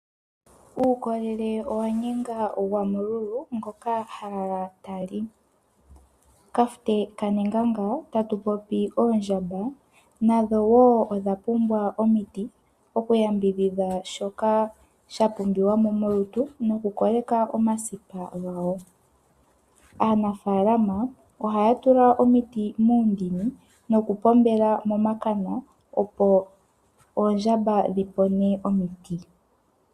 Uukolele owa nyenga gwamululu ngoka ha lala tali, kafute kanenganga tatu popi oondjamba nadho wo odha pumbwa omiti okuya mbidhidha shoka sha pumbiwa mo molutu noku koleka omasipa gawo. Aanafalama ohaya tula omiti muundini noku pombela momakana opo oondjamba dhi nine omiti.